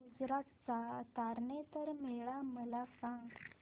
गुजरात चा तारनेतर मेळा मला सांग